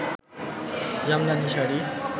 Jamdani sari